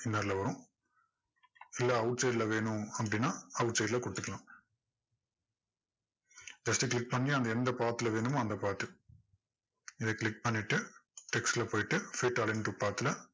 inner ல வரும் இல்ல outside ல வேணும் அப்படின்னா outside ல கொடுத்துக்கலாம் just click பண்ணி அது எந்த part ல வேணுமோ அந்த part இதை click பண்ணிட்டு text ல போய்ட்டு set align to path ல